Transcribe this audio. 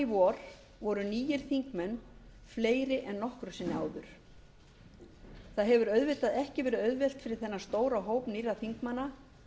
vor voru nýir þingmenn fleiri en nokkru sinni áður það hefur auðvitað ekki verið auðvelt fyrir þennan stóra hóp nýrra þingmanna